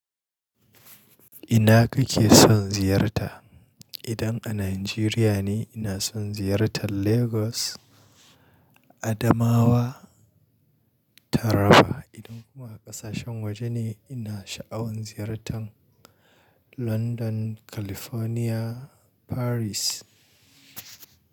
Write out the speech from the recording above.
Ina kake son ziyarta? Idan a Nigeria ne, ina son ziyartar Lagos, Adamawa, Taraba. Idan kuma ƙasashen waje ne, ina sha'awan ziyartar London, California, Paris.